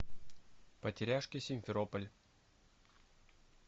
потеряшки симферополь